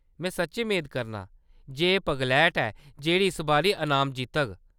में सच्चें मेद करनां जे एह्‌‌ पगलैट ऐ जेह्‌‌ड़ी इस बारी अनाम जित्तग।